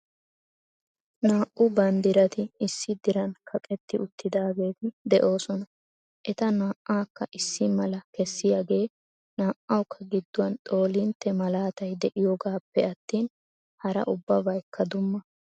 Naa"u banddirati issi diran kaqqeti uttidaageeti de'oosona. Eta naa"akka issi mala kessiyaagee naa"awukka gidduwan xoolintte malaatay de'iyoogappe attin hara ubbabaykka dumma .